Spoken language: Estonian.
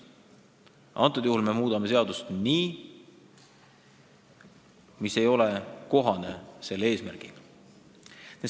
Praegu me aga muudame seadust nii, et see ei klapi selle eesmärgiga.